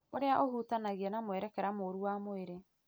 ũrĩa ũhutanagia na mwerekera mũũru wa mwĩrĩ.